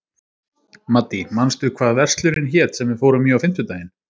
Maddý, manstu hvað verslunin hét sem við fórum í á fimmtudaginn?